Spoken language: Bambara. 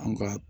An ka